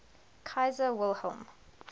kaiser wilhelm